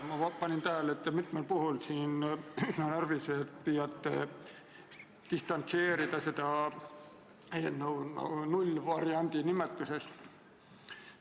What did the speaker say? Ma panin tähele, et te siin mitmel puhul püüate seda eelnõu närviliselt distantseerida nullvariandi nimetusest.